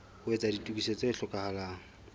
ho etsa ditokiso tse hlokahalang